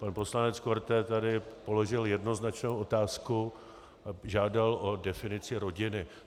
Pan poslanec Korte tady položil jednoznačnou otázku a žádal o definici rodiny.